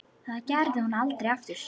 Það gerði hún aldrei aftur.